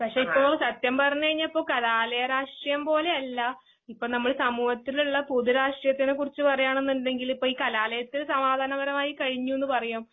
പക്ഷെയിപ്പോ സത്യംപറഞ്ഞ്കഴിഞ്ഞപ്പൊ കലാലയരാഷ്ട്രീയംപോലെയല്ലാ. ഇപ്പംനമ്മൾസമൂഹത്തിലുള്ള പൊതുരാഷ്ട്രീയത്തിനെകുറിച്ച് പറയാണുന്നുണ്ടെങ്കിൽ ഇപ്പഈകലാലയത്തിൽസമാധാനപരമായികയിഞ്ഞൂന്ന്പറയും.